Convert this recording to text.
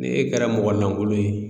Ni e kɛra mɔgɔ lankolon ye